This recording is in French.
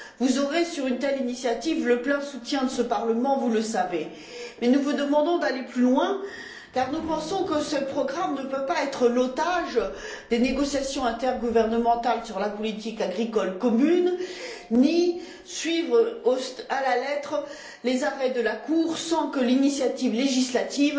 Vous aurez, sur une telle initiative, le plein soutien de ce Parlement, vous le savez, mais nous vous demandons d'aller plus loin, car nous pensons que ce programme ne peut pas être l'otage des négociations intergouvernementales sur la politique agricole commune, ni suivre à la lettre les arrêts de la Cour sans que l'initiative législative